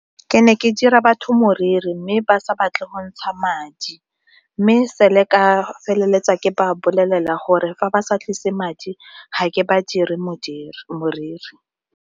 Ke ne ke dira batho moriri mme ba sa batle go ntsha madi mme se le ka feleletsa ke ba bolelela gore fa ba sa tlise madi ga ke ba dire moriri.